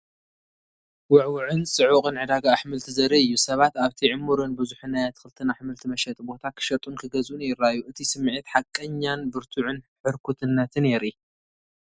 ውዕዉዕን ጽዑቕን ዕዳጋ ኣሕምልቲ ዘርኢ እዩ። ሰባት ኣብቲ ዕሙርን ብዙሕን ናይ ኣትክልትን ኣሕምልቲ መሸጢ ቦታ ክሸጡን ክገዝኡን ይረኣዩ። እቲ ስምዒት ሓቀኛን ብርቱዕን ሕርኩትነትን የርኢ።